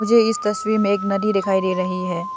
इस तस्वीर में एक नदी दिखाई दे रही है।